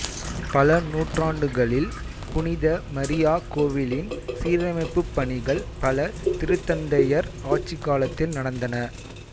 பல நூற்றாண்டுகளில் புனித மரியா கோவிலின் சீரமைப்புப் பணிகள் பல திருத்தந்தையர் ஆட்சிக்காலத்தில் நடந்தன